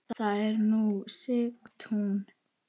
Þar er nú Sigtún.